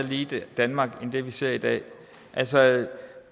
lige danmark end det vi ser i dag